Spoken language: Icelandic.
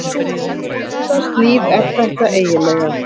Hvurslags líf er þetta eiginlega?